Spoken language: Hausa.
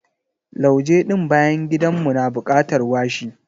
Lauje ɗin bayan gidan mu na bukatar washi.